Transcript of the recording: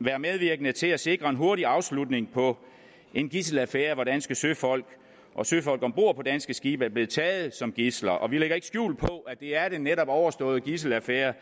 være medvirkende til at sikre en hurtig afslutning på en gidselaffære hvor danske søfolk og søfolk om bord på danske skibe er blevet taget som gidsler og vi lægger ikke skjul på at det er den netop overståede gidselaffære